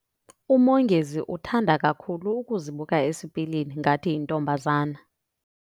UMongezi uthanda kakhulu ukuzibuka esipilini ngathi yintombazana.